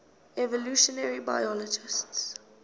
evolutionary biologists